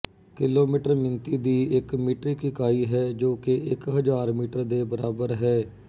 kilometre ਮਿਣਤੀ ਦੀ ਇੱਕ ਮੀਟ੍ਰਿਕ ਇਕਾਈ ਹੈ ਜੋ ਕਿ ਇੱਕ ਹਜ਼ਾਰ ਮੀਟਰ ਦੇ ਬਰਾਬਰ ਹੈ